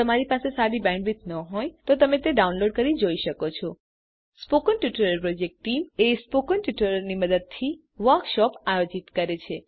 જો તમારી પાસે સારી બેન્ડવિડ્થ ન હોય તો તમે ડાઉનલોડ કરી તે જોઈ શકો છો spoken tutorial project team spoken ટ્યુટોરીયલોની મદદથી વર્કશોપ આયોજિત કરે છે